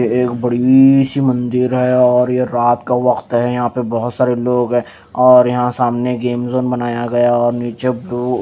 ये एक बड़ी सी मंदिर है और ये रात का वक्त है यहां पे बहोत सारे लोग है और यहां सामने गेम ज़ोन बनाया गया है और नीचे ब्ल्यू --